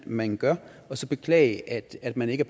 man gør og så beklage at man ikke